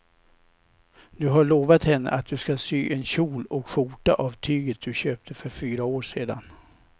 Du har lovat henne att du ska sy en kjol och skjorta av tyget du köpte för fyra år sedan.